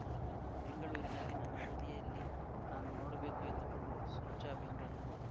ಬೆಂಗಳೂರಿನಲ್ಲಿ ನನ್ನ ಅವಧಿಯಲ್ಲಿ ನಾನು ನೋಡಬೇಕು ಎಂದುಕೊಳ್ಳುವುದು ಸ್ವಚ್ಛ ಬೆಂಗಳೂರು